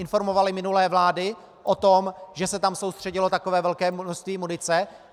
Informovaly minulé vlády o tom, že se tam soustředilo takové velké množství munice?